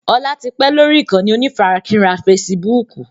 Ọlá tí pẹ́ lórí ìkànnì onífarakínra fésííbùùkù.